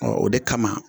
Ɔ o de kama